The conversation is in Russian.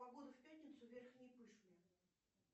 погода в пятницу в верхней пышме